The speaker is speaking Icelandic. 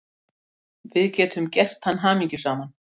Við getum gert hann hamingjusaman.